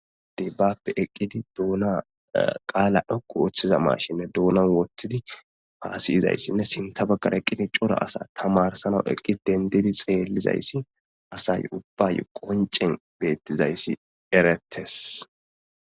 dibbappe eqqidi duuna qaala dhokku woththiza mashinne duunan wottidi paasiyizayssinne sinta baggara eqqidi cora asa tamarsana eqqi dendidi xeellizayssi asay ubbay qoncen beettizayssi erettes